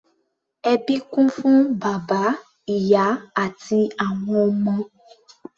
Ẹbí kún fún bàbá, ìyá àti àwọn ọmọ.